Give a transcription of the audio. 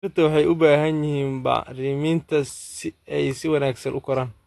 Dhirta waxay u baahan yihiin bacriminta si ay si wanaagsan u koraan.